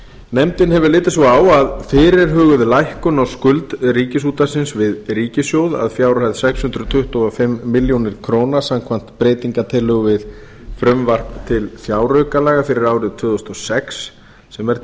nefndin hefur litið svo á að fyrirhuguð lækkun á skuld ríkisútvarpsins við ríkissjóð að fjárhæð sex hundruð tuttugu og fimm milljónir króna samkvæmt breytingartillögu við frumvarp til fjáraukalaga fyrir árið tvö þúsund og sex sem er